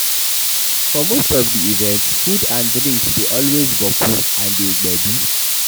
For most of di events food and drinks dey always boku and beter gbedu